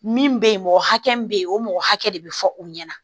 Min bɛ yen mɔgɔ hakɛ min bɛ yen o mɔgɔ hakɛ de bɛ fɔ u ɲɛna